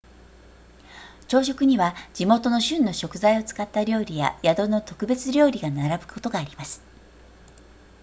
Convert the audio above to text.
朝食には地元の旬の食材を使った料理や宿の特別料理が並ぶことがあります